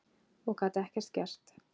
Og gat ekkert gert.